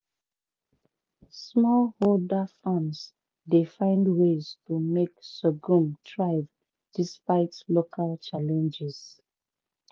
smallholder farms dey find ways to make sorghum thrive despite local challenges.